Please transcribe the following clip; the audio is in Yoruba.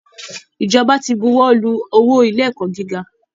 Ìjọba ti buwọ́lu owó ilé ẹ̀kọ́ gíga